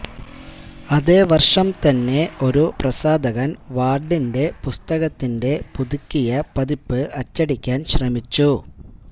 അതേ വർഷം തന്നെ ഒരു പ്രസാധകൻ വാർഡിന്റെ പുസ്തകത്തിന്റെ പുതുക്കിയ പതിപ്പ് അച്ചടിക്കാൻ ശ്രമിച്ചു